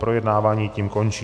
Projednávání tím končí.